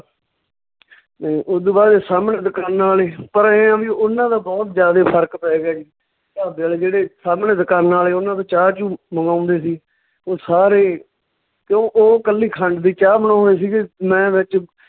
ਤੇ ਓਦੂ ਬਾਅਦ ਚ ਸਾਹਮਣੇ ਦਕਾਨਾਂ ਆਲੇ ਪਰ ਐਂ ਆ ਵੀ ਉਹਨਾਂ ਦਾ ਬਹੁਤ ਜਿਆਦੇ ਫ਼ਰਕ ਪੈ ਗਿਆ ਜੀ, ਢਾਬੇ ਆਲੇ ਜਿਹੜੇ ਸਾਹਮਣੇ ਦਕਾਨਾਂ ਆਲੇ ਓਨਾਂ ਤੋਂ ਚਾਹ ਚੂਹ ਮੰਗਾਉਂਦੇ ਸੀ, ਓਹ ਸਾਰੇ ਕਿਉਂ ਓਹ ਕੱਲੀ ਖੰਡ ਦੀ ਚਾਹ ਬਣਾਉਂਦੇ ਸੀਗੇ ਮੈਂ ਵਿੱਚ